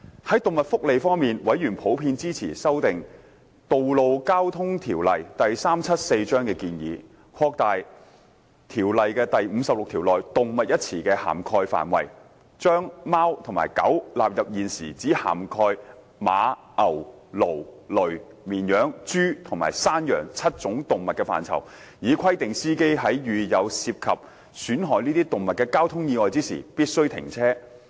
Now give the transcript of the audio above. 在動物福利方面，委員普遍支持修訂《道路交通條例》的建議，擴大該條例第56條內"動物"一詞的涵蓋範圍，把貓和狗納入現時只涵蓋馬、牛、驢、騾、綿羊、豬或山羊7種動物的範圍，以規定司機在遇有涉及損害這些動物的交通意外時必須停車。